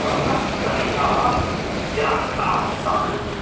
प्रमुखप्रमेया निराकृताः सन्ति